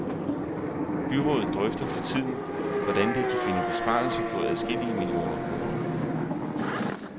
Byrådet drøfter for tiden, hvordan det kan finde besparelser på adskillige millioner kroner.